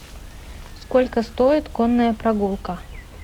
сколько стоит конная прогулка